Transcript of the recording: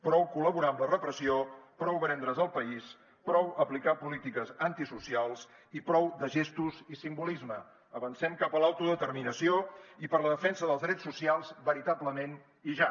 prou col·laborar amb la repressió prou vendre’s el país prou aplicar polítiques antisocials i prou de gestos i simbolisme avancem cap a l’autodeterminació i per la defensa dels drets socials veritablement i ja